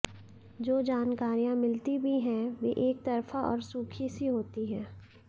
जो जानकारियां मिलती भी हैं वे एकतरफा और सूखी सी होती हैं